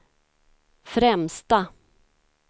främsta